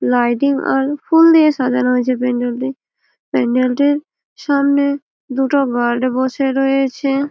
lighting আর ফুল দিয়ে সাজানো রয়েছে প্যান্ডেল -টির প্যান্ডেল -টির সামনে দুটো গার্ড বসে রয়েছে--